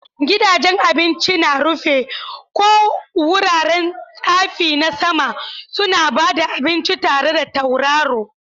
Gidajen abinci na rufi, ko wuraren tsafi na sama, suna ba da abinci tare da tauraro.